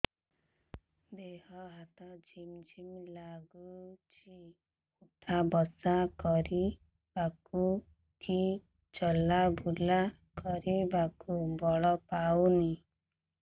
ଦେହେ ହାତ ଝିମ୍ ଝିମ୍ ଲାଗୁଚି ଉଠା ବସା କରିବାକୁ କି ଚଲା ବୁଲା କରିବାକୁ ବଳ ପାଉନି